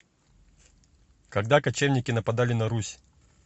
когда кочевники нападали на русь